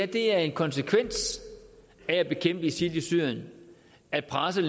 det er en konsekvens af at bekæmpe isil i syrien at presset